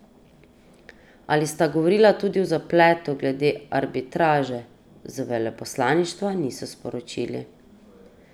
Ali sta govorila tudi o zapletu glede arbitraže, z veleposlaništva niso sporočili.